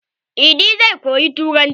Idi zai koyi turanci.